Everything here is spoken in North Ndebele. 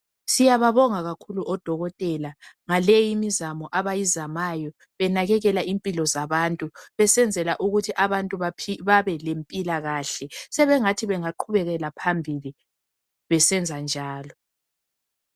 Siyababonga kakhulu odokotela ngaleyi imizamo abayizamayo benakekela impilo zabantu besenzela ukuthi abantu babe lempilakahle sebengathi bengagqubekela phambili besenza njalo .